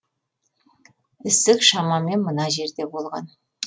ісік шамамен мына жерде болған